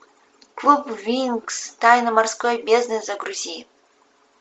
клуб винкс тайна морской бездны загрузи